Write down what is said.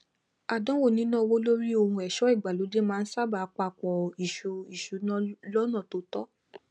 àdánwò níná owó lórí ohun ẹṣọ ìgbàlódé máa ń sáábà papaọ ìṣù ìṣúná lọnà tó tọ